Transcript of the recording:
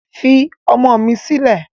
Fi ọmọ mi silẹ